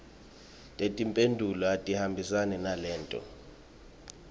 tetimphendvulo atihambisane naleto